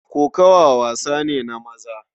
Kokawa wasa ne na maza.